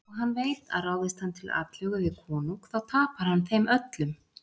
Og hann veit að ráðist hann til atlögu við konung þá tapar hann þeim öllum.